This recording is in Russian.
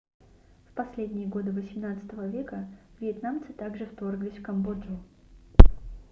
в последние годы xviii века вьетнамцы также вторглись в камбоджу